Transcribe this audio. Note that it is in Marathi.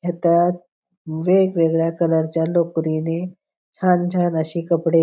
ह्या त्यात वेगवेगळ्या कलर च्या लोकरी ने छान छान अशी कपडे--